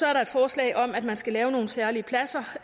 er et forslag om at man skal lave nogle særlige pladser